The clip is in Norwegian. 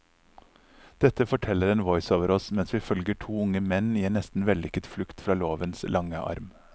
Dette forteller en voiceover oss mens vi følger to unge menn i en nesten vellykket flukt fra lovens lange arm.